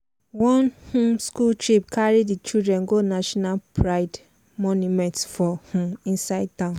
one um school trip carry di children go national pride monument for um inside town.